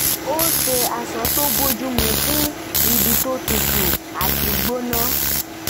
ó ṣe aṣọ tó bójú mu fún ibi tó tutu àti gbóná